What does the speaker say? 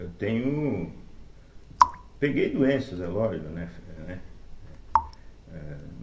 Eu tenho... Peguei doenças, é lógico, né? fe né eh ãh